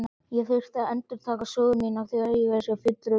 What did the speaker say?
Ég þurfti að endurtaka sögu mína þrívegis fyrir fulltrúum hennar.